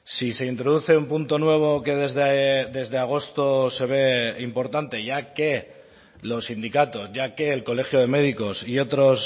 si se introduce un punto nuevo que desde agosto se ve importante ya que los sindicatos ya que el colegio de médicos y otros